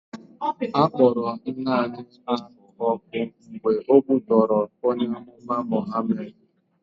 A kpọrọ nwaanyị ahụ ọkụ mgbe o kwutọrọ onye amụma Mụhamed.